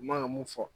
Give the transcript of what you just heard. U man kan ka mun fɔ